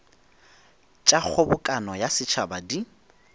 tša kgobokano ya setšhaba di